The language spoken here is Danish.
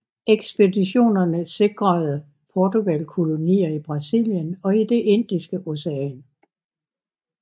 Ekspeditionerne sikrede Portugal kolonier i Brasilien og i Det Indiske Ocean